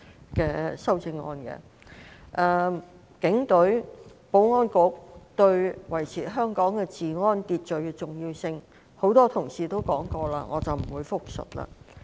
由於多位同事已就警隊及保安局對維持香港治安秩序的重要性發言，我不會複述。